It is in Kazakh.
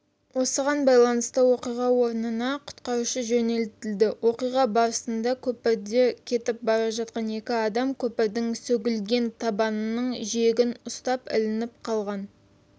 осыған байланысты оқиға орнына құтқарушы жөнелтілді оқиға барысында көпірде кетіп бара жатқан екі адам көпірдің сөгілген табанының жиегін ұстап ілініп қалған